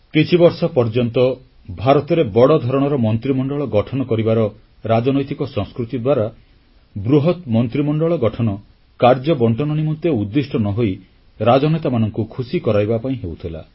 କିଛି ବର୍ଷ ପର୍ଯ୍ୟନ୍ତ ଭାରତରେ ବଡ଼ ଧରଣର ମନ୍ତ୍ରୀମଣ୍ଡଳ ଗଠନ କରିବାର ରାଜନୈତିକ ସଂସ୍କୃତି ଦ୍ୱାରା ବୃହତ ମନ୍ତ୍ରୀମଣ୍ଡଳ ଗଠନ କାର୍ଯ୍ୟ ବଂଟନ ନିମନ୍ତେ ଉଦ୍ଦିଷ୍ଟ ନ ହୋଇ ରାଜନେତାମାନଙ୍କୁ ଖୁସି କରାଇବା ପାଇଁ ହେଉଥିଲା